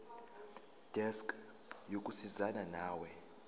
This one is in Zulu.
desk yokusizana nawe